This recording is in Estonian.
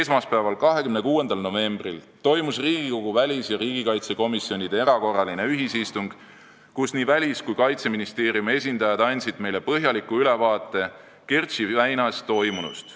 Esmaspäeval, 26. novembril toimus Riigikogu väliskomisjoni ja riigikaitsekomisjoni erakorraline ühisistung, kus nii Välisministeeriumi kui ka Kaitseministeeriumi esindajad andsid meile põhjaliku ülevaate Kertši väinas toimunust.